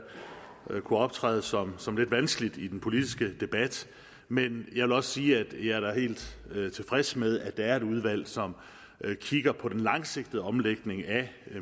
kunne optræde som som lidt vanskeligt i den politiske debat men jeg vil da også sige at jeg er helt tilfreds med at der er et udvalg som kigger på den langsigtede omlægning af